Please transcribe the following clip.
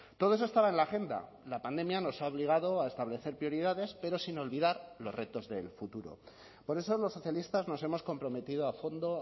todo eso estaba en la agenda la pandemia nos ha obligado a establecer prioridades pero sin olvidar los retos del futuro por eso los socialistas nos hemos comprometido a fondo